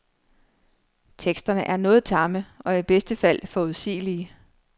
Teksterne er noget tamme og i bedste fald forudsigelige.